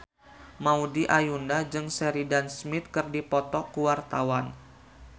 Maudy Ayunda jeung Sheridan Smith keur dipoto ku wartawan